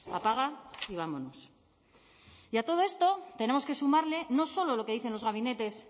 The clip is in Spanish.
apaga y vámonos y a todo esto tenemos que sumarle no solo lo que dicen los gabinetes